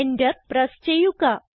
Enter press ചെയ്യുക